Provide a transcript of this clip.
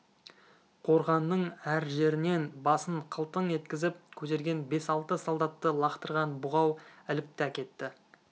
қорғанның әр жерінен басын қылтың еткізіп көтерген бес-алты солдатты лақтырған бұғау іліп те әкетті